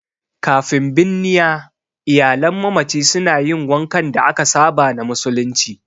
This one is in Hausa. Kafin binniya, iyalan mamaci suna yin wankan da aka saba na musulunci.